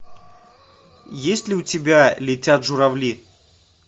есть ли у тебя летят журавли